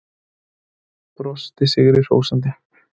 Brosti sigri hrósandi.